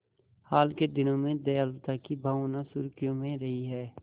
हाल के दिनों में दयालुता की भावना सुर्खियों में रही है